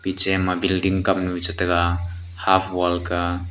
je ma building kamnu che taiga half wall ka.